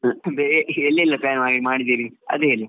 ಎಲ್ಲೆಲ್ಲ plan ಮಾಡಿದ್ದೀರಿ ಅದು ಹೇಳಿ.